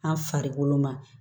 An farikolo ma